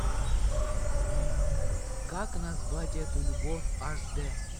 как назвать эту любовь аш де